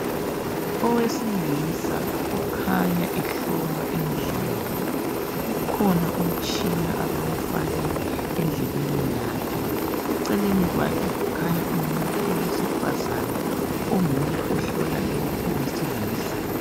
Owesilisa ukhanya ehlolwa indlebe ukhona umtshina abawufake endlebeni yakhe. Eceleni kwakhe kukhanya umuntu owesifazane onguye ohlola lowu owesilisa.